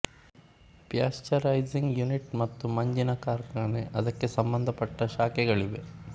pasteurising unit ಮತ್ತು ಮಂಜಿನ ಕಾರ್ಖಾನೆ ಅದಕ್ಕೆ ಸಂಬಂಧಪಟ್ಟ ಶಾಖೆಗಳಿವೆ